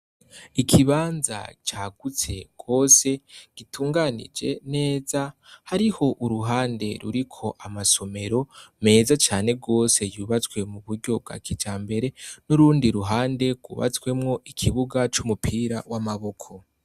Ikibanza cagutse gose, gitunganije neza ,hariho uruhande ruriko amasomero meza cane gose, yubatswe m'uburyo bwa kijambere ,n'urundi ruhande kubatswemo ikibuga c'umupira w'amaboko.